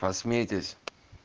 посмейтесь